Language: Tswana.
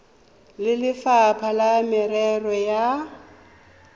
le lefapha la merero ya